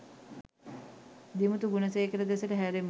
දිමුතු ගුණසේකර දෙසට හැරෙමු.